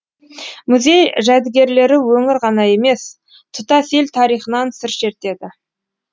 музей жәдігерлері өңір ғана емес тұтас ел тарихынан сыр шертеді